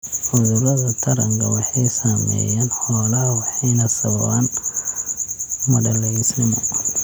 Cudurada taranka waxay saameeyaan xoolaha waxayna sababaan madhalaysnimo.